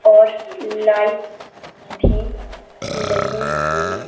और लाइट भी लगी हुई--